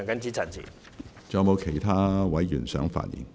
是否有其他委員想發言？